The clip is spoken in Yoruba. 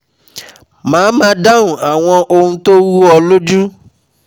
Màá má a dáhùn àwọn ohun tó rú ọ lójú